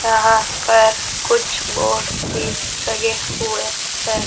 यहां पर कुछ बोर्ड भी लगे हुए हैं।